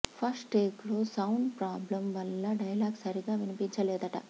first take లో sound problem వల్ల dialogue సరిగ్గా వినిపించలేదట